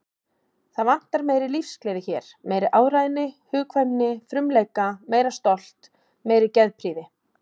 Það vantar meiri lífsgleði hér, meiri áræðni, hugkvæmni, frumleika, meira stolt, meiri geðprýði.